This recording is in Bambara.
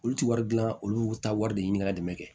Olu ti wari dilan olu ta wari de ɲini ka dɛmɛ kɛ